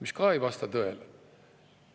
See ka ei vasta tõele.